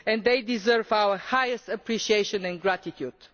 They deserve our highest appreciation and gratitude.